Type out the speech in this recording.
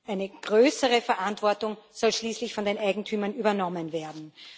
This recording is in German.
Eine größere Verantwortung soll schließlich von den Eigentümern übernommen werden.